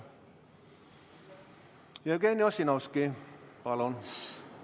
Jevgeni Ossinovski, palun!